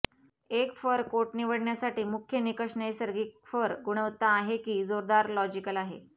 एक fur coat निवडण्यासाठी मुख्य निकष नैसर्गिक फर गुणवत्ता आहे की जोरदार लॉजीकल आहे